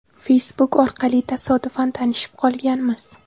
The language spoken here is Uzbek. Facebook orqali tasodifan tanishib qolganmiz.